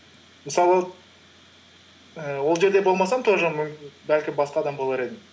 мысалы ііі ол жерде болмасам тоже бәлкім басқа адам болар едім